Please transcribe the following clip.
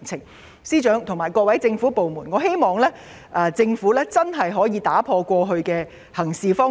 我希望司長和各個政府部門能夠打破過去的行事方式。